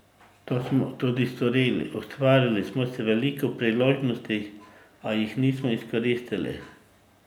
To smo tudi storili, ustvarili smo si veliko priložnosti, a jih nismo izkoristili.